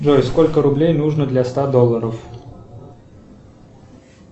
джой сколько рублей нужно для ста долларов